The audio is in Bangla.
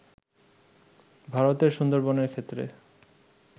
ভারতের সুন্দরবনের ক্ষেত্রে